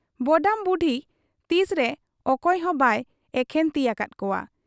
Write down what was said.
ᱵᱚᱰᱟᱢ ᱵᱩᱰᱷᱤ ᱛᱤᱥᱨᱮ ᱚᱠᱚᱭ ᱦᱚᱸ ᱵᱟᱭ ᱮᱠᱷᱮᱱ ᱛᱤ ᱟᱠᱟᱫ ᱠᱚᱣᱟ ᱾